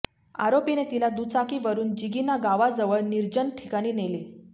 आरोपीने तिला दुचाकीवरून जिगिना गावाजवळ निर्जन ठिकाणी नेले